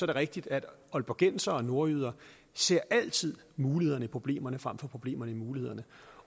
det rigtigt at aalborgensere og nordjyder altid mulighederne i problemerne frem for problemerne i mulighederne